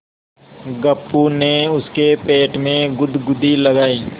गप्पू ने उसके पेट में गुदगुदी लगायी